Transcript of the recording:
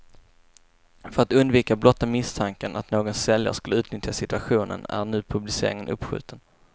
För att undvika blotta misstanken att någon säljare skulle utnyttja situationen är nu publiceringen uppskjuten.